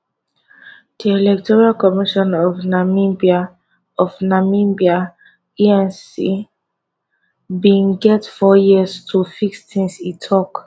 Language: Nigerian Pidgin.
di electoral commission of namibia of namibia [ecn] bin get four years to fix tins e tok